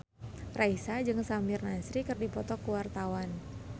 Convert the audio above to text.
Raisa jeung Samir Nasri keur dipoto ku wartawan